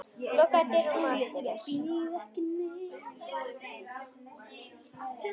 Lokaðu dyrunum á eftir þér.